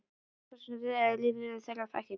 Það er þá von til þess að rifrildum þeirra fækki.